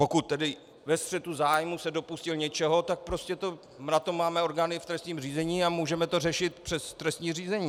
Pokud tedy ve střetu zájmů se dopustil něčeho, tak prostě na to máme orgány v trestním řízení a můžeme to řešit přes trestní řízení.